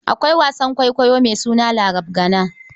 Akwai wasan kwaikwayo mai suna Larabgana.